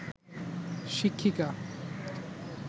শিক্ষিকা